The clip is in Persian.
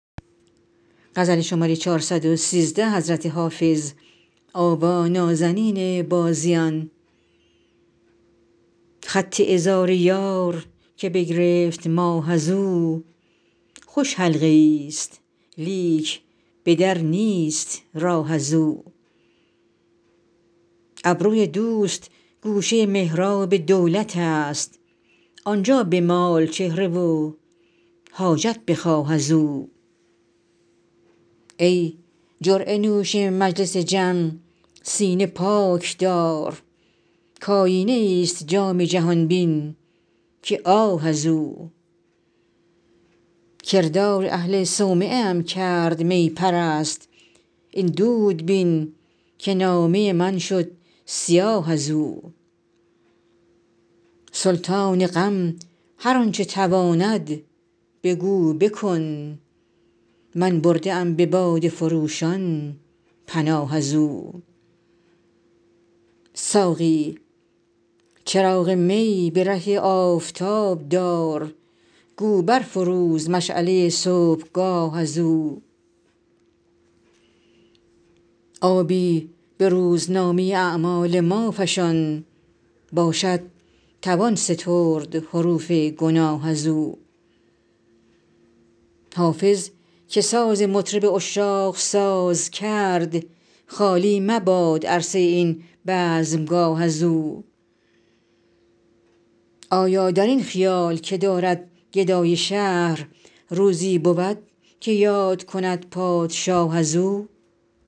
خط عذار یار که بگرفت ماه از او خوش حلقه ای ست لیک به در نیست راه از او ابروی دوست گوشه محراب دولت است آن جا بمال چهره و حاجت بخواه از او ای جرعه نوش مجلس جم سینه پاک دار کآیینه ای ست جام جهان بین که آه از او کردار اهل صومعه ام کرد می پرست این دود بین که نامه من شد سیاه از او سلطان غم هر آن چه تواند بگو بکن من برده ام به باده فروشان پناه از او ساقی چراغ می به ره آفتاب دار گو بر فروز مشعله صبحگاه از او آبی به روزنامه اعمال ما فشان باشد توان سترد حروف گناه از او حافظ که ساز مطرب عشاق ساز کرد خالی مباد عرصه این بزمگاه از او آیا در این خیال که دارد گدای شهر روزی بود که یاد کند پادشاه از او